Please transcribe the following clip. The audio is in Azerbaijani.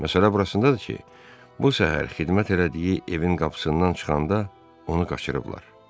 Məsələ burasındadır ki, bu səhər xidmət elədiyi evin qapısından çıxanda onu qaçırıblar.